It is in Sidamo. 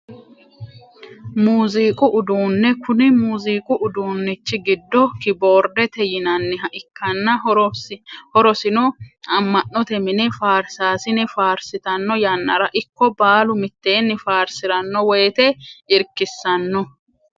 Muuziqu uduune kuni muuziqu uduunichi giddo kiboordete yinaniha ikkana horosino ama`note mine faarsasine faarsitano yanarano ikko baalu miteeni farsirano woyite irkisano.